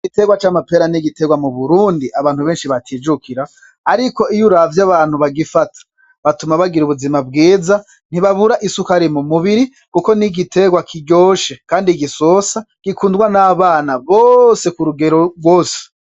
Igiterwa c'amapera n'igiterwa mu Burundi abantu batijukira, ariko iyo uravye abantu bagifata, batuma bagira ubuzima bwiza ntibabura isukari mu mubiri kuko n'igiterwa kiryoshe kandi gisosa gikundwa n'abana bose kurugero rwose.